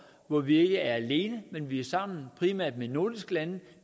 hvor vi ikke er alene men vi er sammen primært med nordiske lande